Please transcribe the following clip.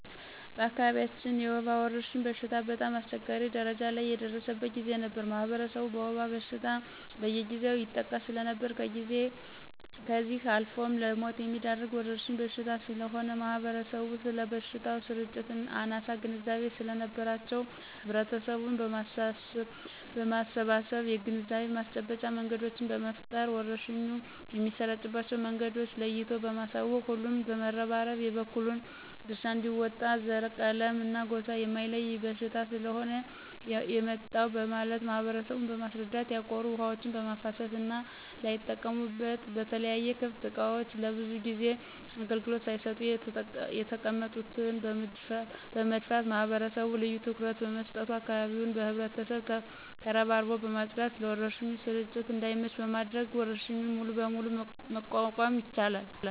በአካባቢያችን የወባ ወረርሽኝ በሽታ በጣም አስቸጋሪ ደረጃ ላይ የደረሰበት ጊዜ ነበር ማህበረሰቡ በወባ በሽታ በየጊዜው ይጠቃ ሰለነበር ከዚህ አልፎም ለሞት የሚዳርግ ወረርሽኝ በሽታ ስለሆነ ማህበረሰቡም ስለበሽታው ስርጭት አናሳ ግንዛቤ ሰለነበራቸው ህብረተሰቡን በማሰባሰብ የግንዛቤ ማስጨበጫ መንገዶችን በመፍጠር ወረርሽኙ የሚሰራጭባቸው መንገዶችን ለይቶ በማሳወቅ ሁሉም በመረባረብ የበኩሉን ድርሻ አንዲወጣ ዘረ :ቀለምና ጎሳ የማይለይ በሽታ ስለሆነ የመጣው በማለት ማህበረሰቡን በማስረዳት ያቆሩ ውሀዎችን በማፋሰስና ላይጠቀሙበት በተለያዩ ክፍት እቃዎች ለብዙ ጊዜ አገልግሎት ሳይሰጡ የተቀመጡትን በመድፋት ማህበረሰቡ ልዮ ትኩረት በመስጠቱ አካባቢውን በህብረት ተረባርቦ በማጽዳት ለወረርሽኙ ስርጭት እዳይመች በማድረግ ወረርሽኙን ሙሉ በሙሉ መቋቋም ተችሏል።